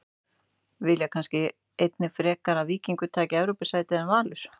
Vilja kannski einnig frekar að Víkingur taki Evrópusætið en Valur?